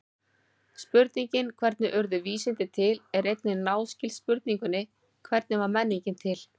Spurningin hvernig urðu vísindi til er einnig náskyld spurningunni hvernig varð menningin til?